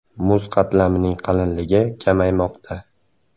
Muz qatlamining qalinligi kamaymoqda.